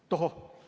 Tohoh!